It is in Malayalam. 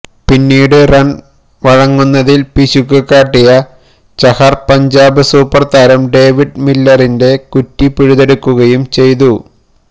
പിന്നീട് റൺ വഴങ്ങുന്നതിൽ പിശുക്ക് കാട്ടിയ ചഹർ പഞ്ചാബ് സൂപ്പർ താരം ഡേവിഡ് മില്ലറിന്റെ കുറ്റി പിഴുതെടുക്കുകയും ചെയ്തു